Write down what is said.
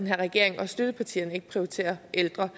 her regering og støttepartierne ikke prioriterer ældre